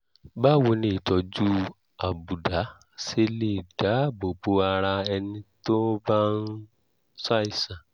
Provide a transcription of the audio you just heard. báwo ni ìtọ́jú àbùdá ṣe lè dáàbò bo ara ẹni tó bá ń ṣàìsàn?